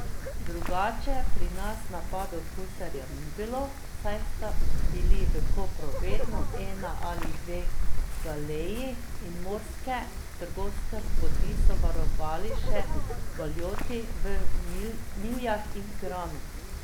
Drugače pri nas napadov gusarjev ni bilo, saj sta bili v Kopru vedno ena ali dve galeji in morske trgovske poti so varovali še galjoti v Miljah in Piranu.